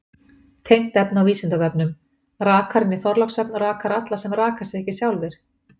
Tengt efni á Vísindavefnum: Rakarinn í Þorlákshöfn rakar alla sem raka sig ekki sjálfir.